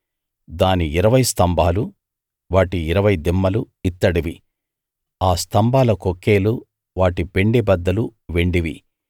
దాని ఇరవై స్తంభాలు వాటి ఇరవై దిమ్మలు ఇత్తడివి ఆ స్తంభాల కొక్కేలు వాటి పెండెబద్దలు వెండివి